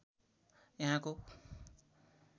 यहाँको